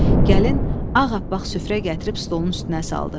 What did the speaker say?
Gəlin ağappaq süfrə gətirib stolun üstünə saldı.